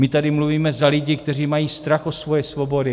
My tady mluvíme za lidi, kteří mají strach o svoje svobody.